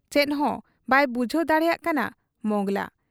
ᱪᱮᱫᱦᱚᱸ ᱵᱟᱭ ᱵᱩᱡᱷᱟᱹᱣ ᱫᱟᱲᱮᱭᱟᱜ ᱠᱟᱱᱟ ᱢᱚᱸᱜᱽᱞᱟ ᱾